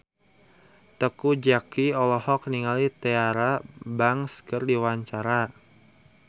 Teuku Zacky olohok ningali Tyra Banks keur diwawancara